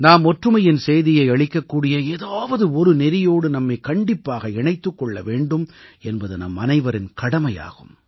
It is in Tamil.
நாம் ஒற்றுமையின் செய்தியை அளிக்கக்கூடிய ஏதாவது ஒரு நெறியோடு நம்மைக் கண்டிப்பாக இணைத்துக் கொள்ள வேண்டும் என்பது நம்மனைவரின் கடமையாகும்